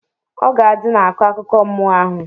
Ọgadị na-akọ akụkọ mmụọ ahụ.